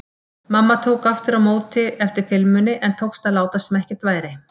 Mamma tók aftur á móti eftir filmunni en tókst að láta sem ekkert væri.